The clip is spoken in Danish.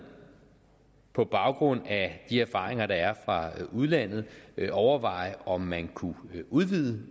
på baggrund af de erfaringer der er fra udlandet overveje om man kunne udvide